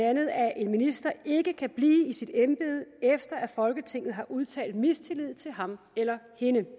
at en minister ikke kan blive i sit embede efter at folketinget har udtalt mistillid til ham eller hende det